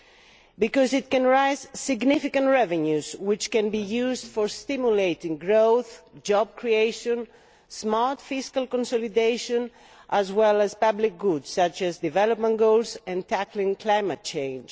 This is because it can raise significant revenues which can be used for stimulating growth, job creation and smart fiscal consolidation as well as public goods such as development goals and tackling climate change.